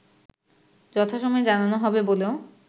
যথাসময়ে জানানো হবে বলেও